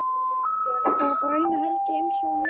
Var bara eina helgi einsog hann lofaði.